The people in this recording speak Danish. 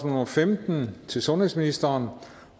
nummer femten til sundhedsministeren